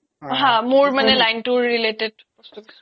মোৰ মানে line তোৰ related বস্তু কিছুমান